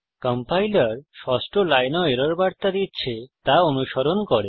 compiler ষষ্ঠ লাইনেও error বার্তা দিচ্ছে তা অনুস্মরণ করুন